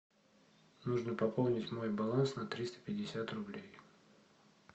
нужно пополнить мой баланс на триста пятьдесят рублей